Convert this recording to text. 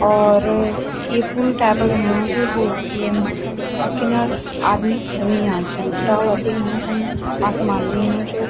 और यि पुल टैप क हिलना छिन रोड च वैमा अर किनर आदमी खडु हुयां छन डाला दिखेणा छन आसमान दिखणु चु।